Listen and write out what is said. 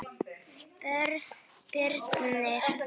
Björn Birnir.